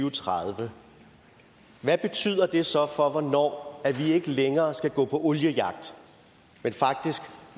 og tredive hvad betyder det så for hvornår vi ikke længere skal gå oliejagt men faktisk